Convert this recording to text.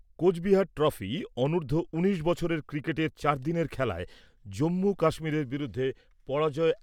Cooch Behar trophy অনুর্ধ্ব উনিশ বছরের ক্রিকেটের চারদিনের খেলায় জম্মু কাশ্মীরের বিরুদ্ধে পরাজয়।